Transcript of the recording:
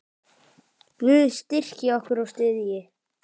Guð styrki ykkur og styðji.